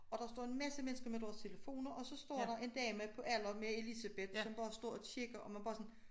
Og der står en masse mennesker med deres telefoner og så står der en dame på alder med Elisabeth som bare står og kigger og man bare sådan